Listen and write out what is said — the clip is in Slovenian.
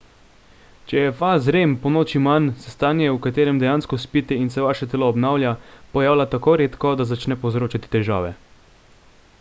če je faz rem ponoči manj se stanje v katerem dejansko spite in se vaše telo obnavlja pojavlja tako redko da začne povzročati težave